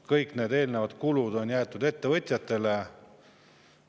Kõik kulud on jäetud ettevõtjate kanda.